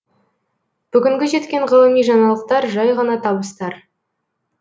бүгінгі жеткен ғылыми жаңалықтар жай ғана табыстар